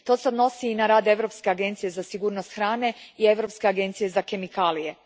To se odnosi i na rad Europske agencije za sigurnost hrane i Europske agencije za kemikalije.